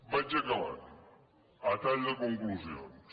vaig acabant a tall de conclusions